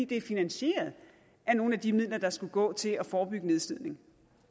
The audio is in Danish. det er finansieret af nogle af de midler der skulle gå til at forebygge nedslidning